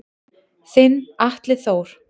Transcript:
Þinn Atli Þór.